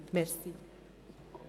Aber wir bleiben am Thema dran.